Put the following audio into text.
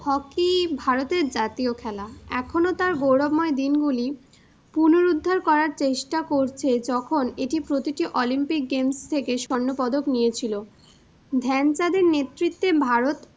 Hockey ভারতের জাতীয় খেলা, এখনও তার গৌরবময় দিনগুলি পুনরুদ্ধার করার চেষ্টা করছে যখন এটি প্রতিটি olympic games থেকে স্বর্ণপদক নিয়েছিল। ধ্যানচাঁদ এর নেতৃত্বে ভারত,